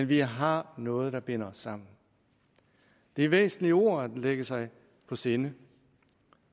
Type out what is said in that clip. vi har noget der binder os sammen det er væsentlige ord at lægge sig på sinde